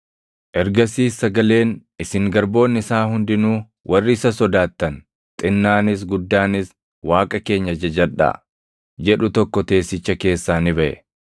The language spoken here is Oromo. Ergasiis sagaleen, “Isin garboonni isaa hundinuu, warri isa sodaattan, xinnaanis guddaanis, Waaqa keenya jajadhaa” jedhu tokko teessicha keessaa ni baʼe.